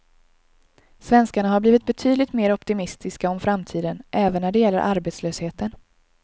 Svenskarna har blivit betydligt mer optimistiska om framtiden, även när det gäller arbetslösheten.